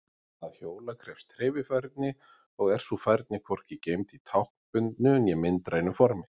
Að hjóla krefst hreyfifærni og er sú færni hvorki geymd í táknbundnu né myndrænu formi.